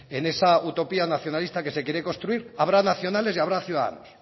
en esa utopía nacionalista que se quiere construir habrá nacionales y habrá ciudadanos